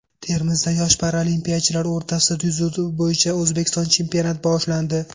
Termizda yosh paralimpiyachilar o‘rtasida dzyudo bo‘yicha O‘zbekiston chempionati boshlandi.